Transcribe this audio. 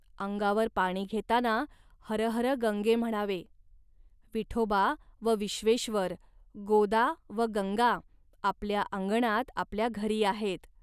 अंगावर पाणी घेताना हर हर गंगे म्हणावे. विठोबा व विश्वेश्वर, गोदा व गंगा आपल्या अंगणात आपल्या घरी आहेत